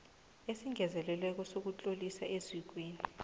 ezingezelelweko zokutloliswa ezikweni